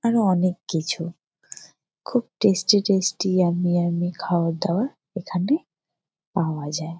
আরো অনেক কিছু। খুব টেস্টি টেস্টি ইয়াম্মি ইয়াম্মি খাবার দাবার এখানে পাওয়া যায় ।